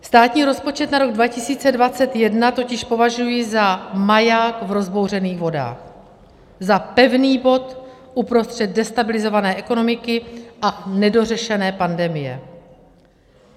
Státní rozpočet na rok 2021 totiž považuji za maják v rozbouřených vodách, za pevný bod uprostřed destabilizované ekonomiky a nedořešené pandemie.